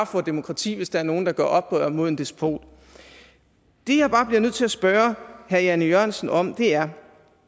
får demokrati hvis der bare er nogen der gør oprør mod en despot det jeg bare bliver nødt til at spørge herre jan e jørgensen om er